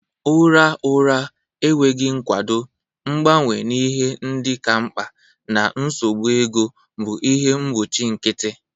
Ụra ụra, enweghị nkwado, mgbanwe ihe ndị ka mkpa, na nsogbu ego bụ ihe mgbochi nkịtị.